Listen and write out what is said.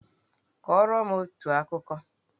Kọrọ m otu akụkọ!